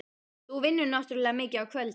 Þú vinnur náttúrlega mikið á kvöldin.